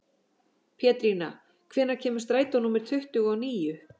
Pétrína, hvenær kemur strætó númer tuttugu og níu?